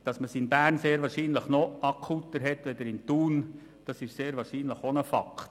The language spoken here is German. Dass man es in Bern wohl noch akuter hat als in Thun, ist sehr wahrscheinlich auch ein Fakt.